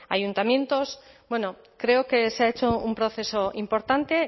ayuntamientos bueno creo que se ha hecho un proceso importante